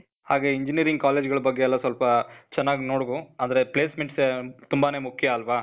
ಹಾಗೆ engineering college ಗಳ ಬಗ್ಗೆ ಎಲ್ಲ ಸ್ವಲ್ಪ, ಚನಾಗ್ ನೋಡ್ಕೊ. ಅಂದ್ರೆ placements ತುಂಬಾನೇ ಮುಖ್ಯ ಆಲ್ವಾ?